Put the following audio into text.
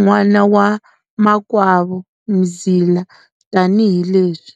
n'wana wa makwavo Mzila tani hileswi.